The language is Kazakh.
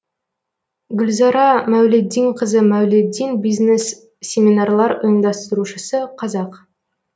гүлзара мәулетдинқызы мәулетдин бизнес семинарлар ұйымдастырушысы қазақ